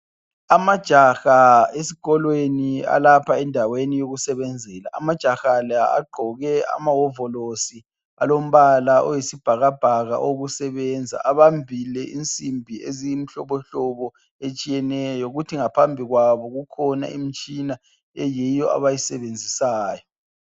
Amajaha esikolweni alapha endaweni yokusebenzela. Amajaha la agqoke amawovolosi alombala oyisibhakabhaka okusebenza. Abambile insimbi eziyimhlobohlobo etshiyeneyo kuthi ngaphambi kwabo kukhona imitshina eyiyo abayisebenzisayo.